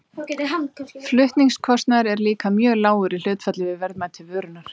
flutningskostnaður er líka mjög lágur í hlutfalli við verðmæti vörunnar